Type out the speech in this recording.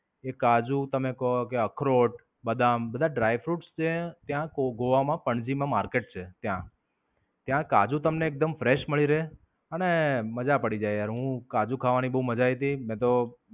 એ કાજુ તમે કો કે અખરોટ, બદામ બધા dry fruits ત્યે ત્યાં ગોગોવા માં પંજીમાં market છે ત્યાં. ત્યાં કાજુ તમને એકદમ fresh મળી રહે અને મજા પડી જાય યાર. હું, કાજુ ખાવાની બોવ મજા આયી તી મેં તો